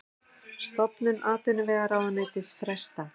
Stofnun atvinnuvegaráðuneytis frestað